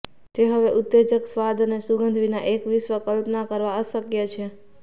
તે હવે ઉત્તેજક સ્વાદ અને સુગંધ વિના એક વિશ્વ કલ્પના કરવા અશક્ય છે